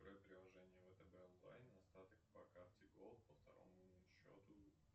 открой приложения втб онлайн остаток по карте голд по второму счету